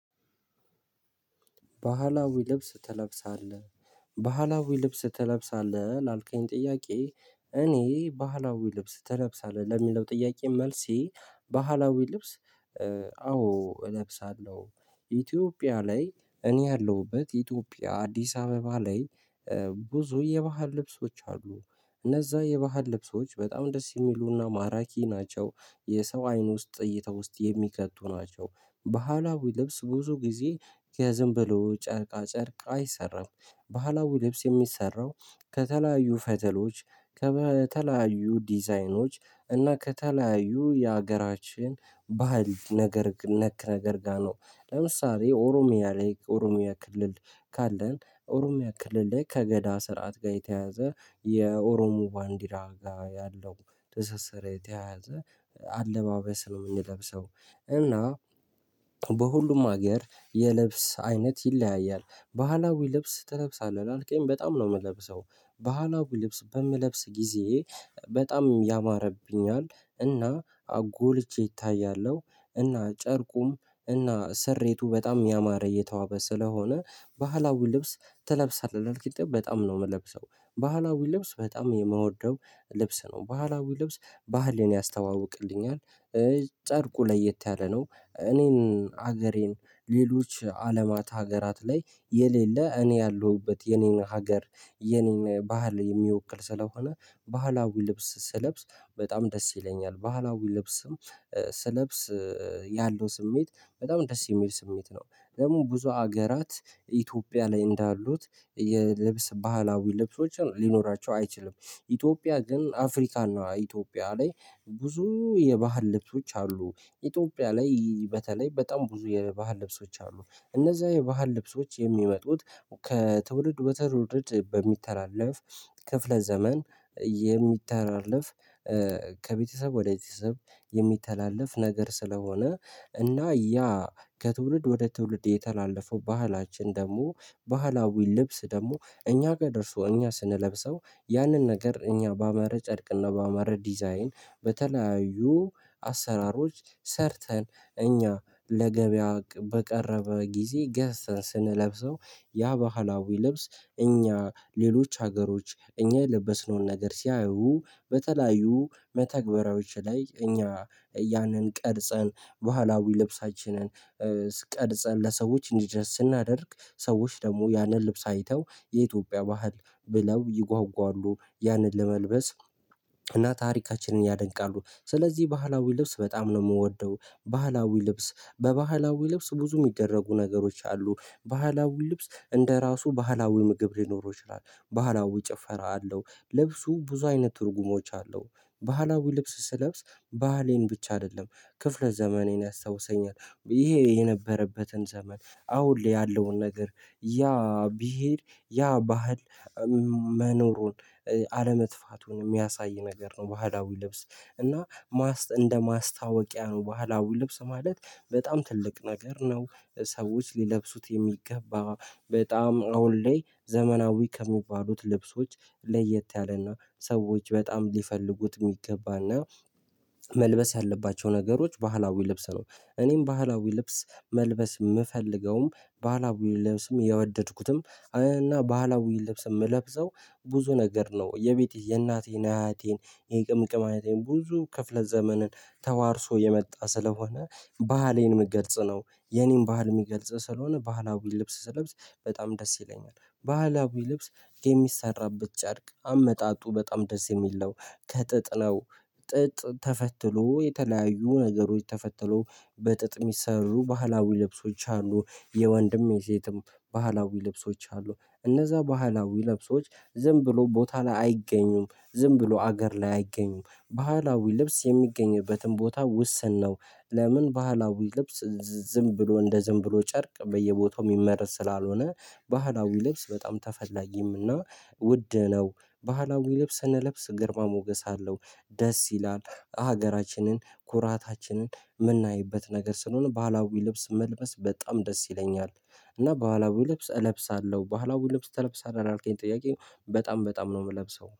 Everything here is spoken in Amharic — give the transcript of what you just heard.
ባህላዊ ልብስ ትለብሳለህ ባህላዊ ልብስ ትለብሳለህ ላልከኝ ጥያቄ እኔ ባህላዊ ልብስ ትለብሳለህ ለሚለው ጥያቄ መልሴ ባህላዊ ልብስ? አዎ እለብሳለሁ። ኢትዮጵያ ላይ እኔ ያለሁበት ኢትዮጵያ አዲስ አበባ ላይ። ብዙ የባህል ልብሶች አሉ። እነዛ የባህል ልብሶች በጣም ደስ የሚሉ እና ማራኪ ናቸው። የሰው አይን ውስጥ እይታ ውስጥ የሚከቱ ናቸው። በሃላዊ ልብስ ብዙ ጊዜ ከዝም ብሎ ጨርቃ ጨርቅ አይሰራም። ባህላዊ ልብስ የሚሰራው ከተለያዩ ፈተሎች ከተለያዩ ዲዛይኖች እና ከተለያዩ የሀገራችን ባህል ነገር ነክ ነገር ጋር ነው። ለምሳሌ ኦሮሚያ ላይ ኦሮሚያ ክልል። ካለን ኦሮሚያ ክልል ላይ ከገዳ ስርዓት ጋር የተያያዘ የኦሮሞ ባንዲራ ጋር ያለው ትስስር የተያያዘ አለባበስ ነው የምንለብሰው። እና በሁሉም ሀገር የልብስ አይነት ይለያያል። ባህላዊ ልብስ ትለብሳለህ ላልከኝ በጣም ነው የምለብሰው። ባህላዊ ልብስ በምለብስ ጊዜ በጣም ያማረብኛል። እና ጎልቼ እታያለሁ። እና ጨርቁም እና ስሬቱ በጣም ያማረ የተዋበ ስለሆነ ባህላዊ ልብስ ትለብሳለህ ላልከኝ በጣም ነው የምለብሰው። ባህላዊ ልብስ በጣም የምወደው ልብስ ነው ባህላዊ ልብስ ባህልን ያስተዋውቅልኛል። ጨርቁ ለየት ያለ ነው እኔን ሀገሬን ሌሎች አለማት ሀገራት ላይ የሌለ እኔ ያለሁበት የኔን ሀገር የኔን ባህል የሚወክል ስለሆነ። ባህላዊ ልብስ ስለብስ በጣም ደስ ይለኛል ባህላዊ ልብስም። ስለብስ ያለው ስሜት በጣም ደስ የሚል ስሜት ነው። ደግሞ ብዙ ሀገራት ኢትዮጵያ ላይ እንዳሉት ባህላዊ ልብሶችን ሊኖራቸው አይችልም። ኢትዮጵያ ግን አፍሪካ እና ኢትዮጵያ ላይ ብዙ የባህል ልብሶች አሉ። ኢትዮጵያ ላይ በተለይ በጣም ብዙ የባህል ልብሶች አሉ። እነዛ የባህል ልብሶች የሚመጡት ከትውልድ ወደ ትውልድ በሚተላለፍ ክፍለ ዘመን የሚተላለፍ ከቤተሰብ ወደ ቤተሰብ የሚተላለፍ ነገር ስለሆነ። እና ያ ከትውልድ ወደ ትውልድ የተላለፈው ባህላችን ደግሞ ባህላዊ ልብስ ደግሞ እኛ ጋር ደርሶ እኛ ስንለብሰው። ያንን ነገር እኛ ባማረ ጨርቅ እና ባማረ ዲዛይን በተለያዩ አሰራሮች ሰርተን እኛ ለገበያ በቀረበ ጊዜ ገዝተን ስንለብሰው ያ ባህላዊ ልብስ። እኛ ሌሎች ሀገሮች እኛ የለበስነውን ነገር ሲያዩ በተለያዩ መተግበሪያዎች ላይ እኛ ያንን ቀርጸን ባህላዊ ልብሳችንን ቀርጸን ለሰዎች እንዲደርስ ስናደርግ ሰዎች ደግሞ ያንን ልብስ አይተው የኢትዮጵያ ባህል ብለው ይጓጓሉ ያንን ለመልበስ። እና ታሪካችንን ያደንቃሉ ስለዚህ ባህላዊ ልብስ በጣም ነው የምወደው። ባህላዊ ልብስ በባህላዊ ልብስ ብዙ የሚደረጉ ነገሮች አሉ ባህላዊ ልብስ እንደ ራሱ ባህላዊ ምግብ ሊኖረው ይችላል ባህላዊ ጭፈራ አለው ልብሱ ብዙ አይነት ትርጉሞች አለው። ባህላዊ ልብስ ስለብስ ባህሌን ብቻ አይደለም። ክፍለ ዘመኔን ያስታውሰኛል ይሄ የነበረበትን ዘመን አሁን ላይ ያለውን ነገር ያ ቢሄድ ያ ባህል መኖሩን አለመጥፋቱን የሚያሳይ ነገር ነው። ባህላዊ ልብስ እና ማስ እንደ ማስታወቂያ ነው ባህላዊ ልብስ ማለት በጣም ትልቅ ነገር ነው። ሰዎች ሊለብሱት የሚገባ በጣም አሁን ላይ ዘመናዊ ከሚባሉት ልብሶች ለየት ያለ እና ሰዎች በጣም ሊፈልጉት የሚገባ እና መልበስ ያለባቸው ነገሮች ባህላዊ ልብስ ነው። እኔም ባህላዊ ልብስ መልበስ የምፈልገውም ባህላዊ ልብስም የወደድኩትም እና ባህላዊ ልብስ የምለብሰው ብዙ ነገር ነው የቤቴ የእናቴን አያቴን የቅምቅም አያቴን ብዙ ክፍለ ዘመንን ተዋርሶ የመጣ ስለሆነ ባህሌን ምገልጽ ነው። የኔን ባህል የሚገልጽ ስለሆነ ባህላዊ ልብስ ስለብስ በጣም ደስ ይለኛል። ባህላዊ ልብስ የሚሰራበት ጨርቅ አመጣጡ በጣም ደስ የሚል ነው። ከጥጥ ነው። ጥጥ ተፈትሎ የተለያዩ ነገሮች ተፈትሎ በጥጥ የሚሰሩ ባህላዊ ልብሶች አሉ። የወንድም የሴትም ባህላዊ ልብሶች አሉ። እነዛ ባህላዊ ልብሶች ዝም ብሎ ቦታ ላይ አይገኙም ዝም ብሎ አገር ላይ አይገኙም ባህላዊ ልብስ የሚገኝበትን ቦታ ውስን ነው። ለምን ባህላዊ ልብስ ዝም ብሎ እንደ ዝም ብሎ ጨርቅ በየቦታው የሚመረት ስላልሆነ? ባህላዊ ልብስ በጣም ተፈላጊም እና ውድ ነው። ባህላዊ ልብስ ስንለብስ ግርማ ሞገስ አለው። ደስ ይላል ሀገራችንን ኩራታችንን የምናይበት ነገር ስለሆነ ባህላዊ ልብስ መልበስ በጣም ደስ ይለኛል። እና ባህላዊ ልብስ እለብሳለሁ ባህላዊ ልብስ ትለብሳለህ ላልከኝ ጥያቄ በጣም በጣም ነው የምለብሰው